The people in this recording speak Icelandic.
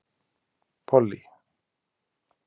Pollý